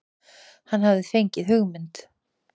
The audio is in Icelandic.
Hann hafði fengið hugmynd.